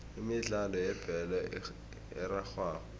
imidlalo yebholo erarhwako